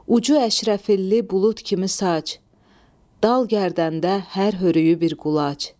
Ucu Əşrəfili bulud kimi saç, dal gərdəndə hər hörüyü bir qulac.